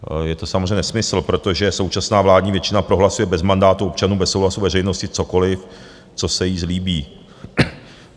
Je to samozřejmě nesmysl, protože současná vládní většina prohlasuje bez mandátu občanů, bez souhlasu veřejnosti cokoliv, co se jí zlíbí.